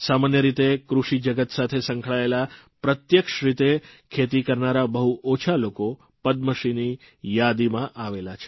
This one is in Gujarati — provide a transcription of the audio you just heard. સામાન્ય રીતે કૃષિજગત સાથે સંકળાયેલા પ્રત્યક્ષ રીતે ખેતી કરનારા બહુ ઓછા લોકો પદ્મશ્રીની યાદીમાં આવેલા છે